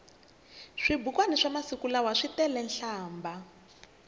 swibukwani swamasiku lawa switelenhlambha